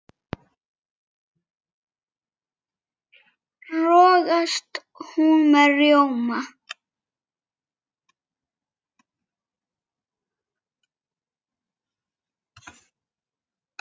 rogast hún með rjóma